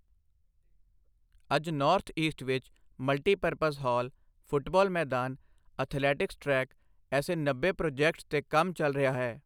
ਅੱਜ north east ਵਿੱਚ multipurpose hall, football ਮੈਦਾਨ, ਅਥਲੈਟਿਕਸ ਟ੍ਰੈਕ, ਐਸੇ ਨੱਬੇ ਪ੍ਰੋਜੈਕਟਸ ਤੇ ਕੰਮ ਚਲ ਰਿਹਾ ਹੈ।